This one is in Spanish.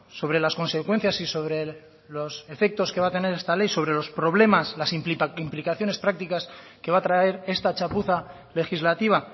sobre las consecuencias y sobre los efectos que va a tener esta ley sobre los problemas las implicaciones prácticas que va a traer esta chapuza legislativa